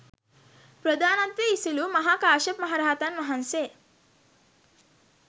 ප්‍රධානත්වය ඉසිලූ මහා කාශ්‍යප මහරහතන් වහන්සේ